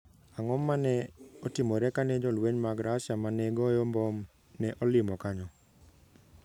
Ang'o ma ne otimore kane jolweny mag Russia ma ne goyo mbom ne olimo kanyo?